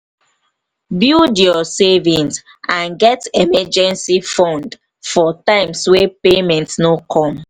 build you savings and get emergency fund for times when payment no come.